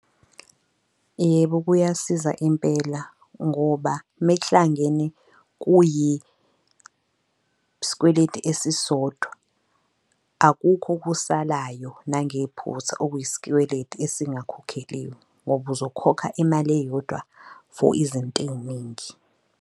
Yebo, kuyasiza impela ngoba mekuhlangene kuyisikweleti esisodwa akukho okusalayo nangephutha okuyisikweleti esingakhokheliwe ngoba uzokhokha imali eyodwa for izinto ey'ningi.